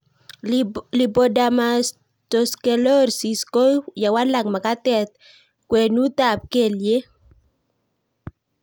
Lipodermatosclerosis ko ye walak mag'atet ng'weng'ut ab kelyek